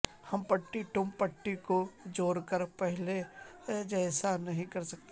Humpty Dumpty کو جوڑ کر پہلے جیسا نہیں کرسکے